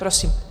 Prosím.